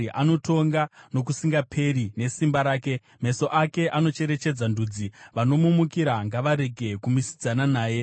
Anotonga nokusingaperi nesimba rake, meso ake anocherechedza ndudzi, vanomumukira ngavarege kumisidzana naye. Sera